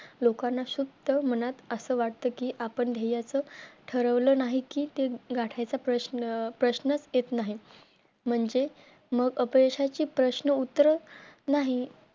लोकांना शुध्द मनात असे वाटते कि आपण ध्येयाचं ठरलं नाही की ते गाठायचं प्रश्न अं प्रश्नच येत नाही. म्हणजे मग अपयशाची प्रश्न उत्तरे नाही